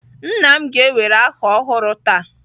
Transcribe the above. Nna m ga-ewere aha ọhụrụ taa.